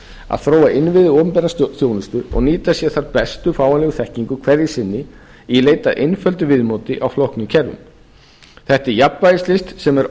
að þróa innviði opinberrar þjónustu og nýta sér þær bestu fáanlegu þekkingu hverju sinni í leit að einföldu viðmóti á flóknum kerfum þetta er jafnvægislist sem er